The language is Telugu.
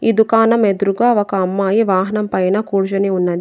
ఈ దుకాణం ఎదురుగా ఒక అమ్మాయి వాహనం పైన కూర్చొని ఉన్నది.